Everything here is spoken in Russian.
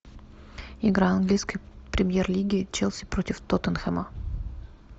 игра английской премьер лиги челси против тоттенхэма